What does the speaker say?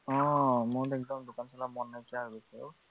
অ মোৰ একদম দোকান চলাব মন নাইকিয়া হৈ গৈছে অ